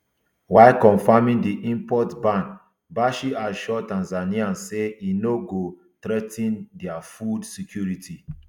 while confirming di import ban bashe assure tanzanians say e no go threa ten dia food security